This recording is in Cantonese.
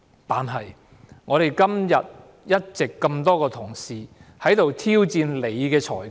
但是，我們今天一直這麼多位同事在此挑戰你的裁決......